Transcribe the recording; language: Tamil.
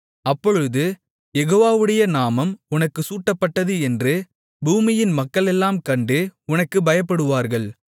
அப்பொழுது யெகோவாவுடைய நாமம் உனக்குச் சூட்டப்பட்டது என்று பூமியின் மக்களெல்லாம் கண்டு உனக்குப் பயப்படுவார்கள்